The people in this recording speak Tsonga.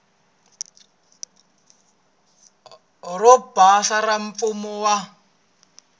ro basa ra mfumo wa